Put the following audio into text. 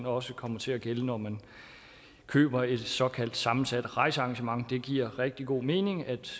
også kommer til at gælde når man køber et såkaldt sammensat rejsearrangement det giver rigtig god mening at